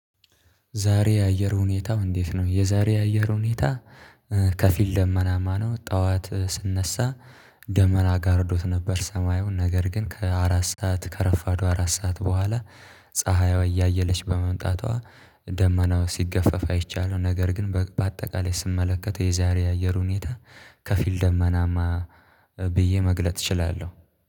ዛሬ የአየር ሁኔታው እንዴት ነው? የዛሬ የአየር ሁኔታ ከፊል ደመናማ ነው። ጠዋት ስነሳ ደመና ጋርዶት ነበር። ሰማዩን ነገር ግን ከአራት ሰዓት ከረፋዱ አራት ሰዓት በኋላ ፀሀይዋ እያየለች በመምጣቷ ደመናው ሲገፈፍ አይቻለው። ነገር ግን በአጠቃላይ ስመለከተው የዛሬ የአየር ሁኔታ ከፊል ደመናማ ብዬ መግለጥ እችላለሁ